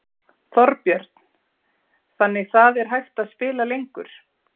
Þorbjörn: Þannig það er hægt að spila lengur?